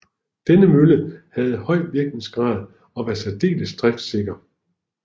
Denne mølle havde høj virkningsgrad og var særdeles driftsikker